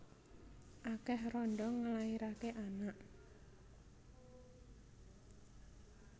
Akeh randha nglairake anak